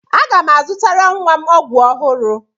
Aga m azụtara nwa m ọgwụ ọhụrụ.